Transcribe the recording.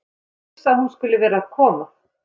Hann er hissa að hún skuli vera að koma.